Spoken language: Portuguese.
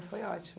Foi ótimo.